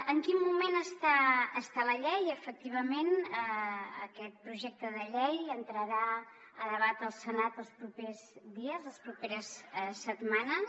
en quin moment està la llei efectivament aquest projecte de llei entrarà a debat al senat els propers dies les properes setmanes